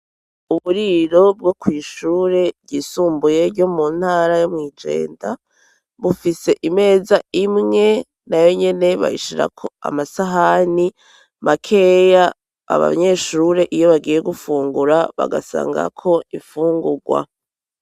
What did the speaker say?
Uburiro bwo kw'ishure ryisumbuye ryo mu ntara yo mw'i Jenda bufise imeza imwe nayo nyene bayishirako amasahani makeya abanyeshure, iyo bagiye gufungura, bagasangako ifungurwa.